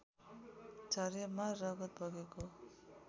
झरेमा रगत बगेको